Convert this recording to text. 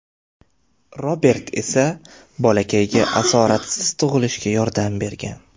Robert esa bolakayga asoratsiz tug‘ilishga yordam bergan.